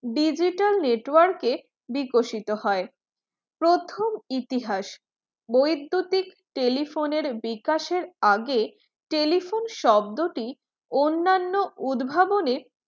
digital network এ বিকশিত হয়। প্রথম ইতিহাস বৈদ্যুতিক telephone এর বিকাশ এর আগে telephone শব্দটি অন্যান্য উদ্ভাবনে